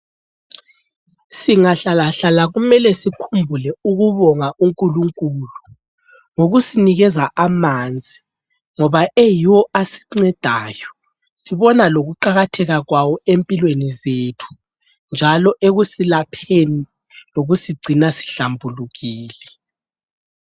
Singahlalahlala kumele sikhumbule ukubonga unkulunkulu ngokusinikeza amanzi , ngoba yiwo asincedayo sibona lokuqakatheka kwawo empilweni zethu, njalo ekusilapheni lokusigcina sihlambulukile.